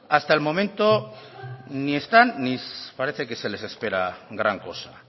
hasta el momento ni están ni parece que se les espera gran cosa